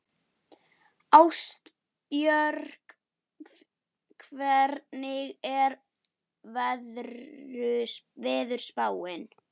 Ástbjörn, hvernig er veðurspáin?